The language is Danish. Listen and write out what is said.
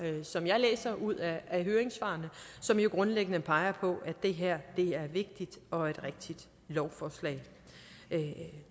som jeg læser ud af høringssvarene som jo grundlæggende peger på at det her er et vigtigt og et rigtigt lovforslag